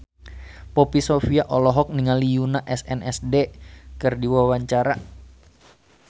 Poppy Sovia olohok ningali Yoona SNSD keur diwawancara